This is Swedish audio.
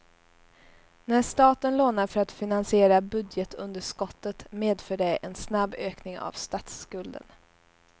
När staten lånar för att finansiera budgetunderskottet medför det en snabb ökning av statsskulden.